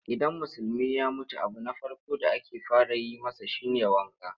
Idan Musulmi ya mutu abu na farko da ake fara yi masa shi ne wanka.